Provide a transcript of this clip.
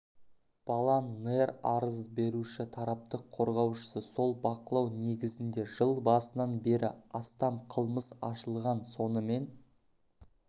балан нэр арыз беруші тараптық қорғаушысы сол бақылау негізінде жыл басынан бері астам қылмыс ашылған сонымен